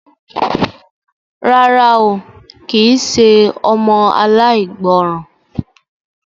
Rárá o, kì í ṣe ọmọ aláìgbọràn.